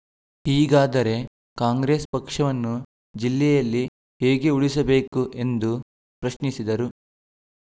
ಹೀಗಾದರೆ ಕಾಂಗ್ರೆಸ್‌ ಪಕ್ಷವನ್ನು ಜಿಲ್ಲೆಯಲ್ಲಿ ಹೇಗೆ ಉಳಿಸಬೇಕು ಎಂದು ಪ್ರಶ್ನಿಸಿದರು